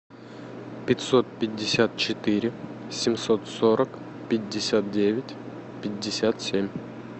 пятьсот пятьдесят четыре семьсот сорок пятьдесят девять пятьдесят семь